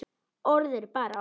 Orð eru bara orð.